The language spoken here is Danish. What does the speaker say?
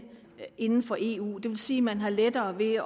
inden for eu det vil sige at man har lettere ved